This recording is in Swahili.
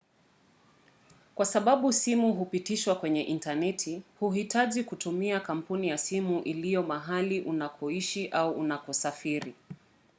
kwa sababu simu hupitishwa kwenye intaneti huhitaji kutumia kampuni ya simu iliyo mahali unakoishi au unakosafiri